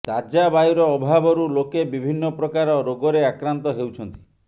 ତାଜା ବାୟୁର ଅଭାବରୁ ଲୋକେ ବିଭିନ୍ନ ପ୍ରକାର ରୋଗରେ ଆକ୍ରାନ୍ତ ହେଉଛନ୍ତି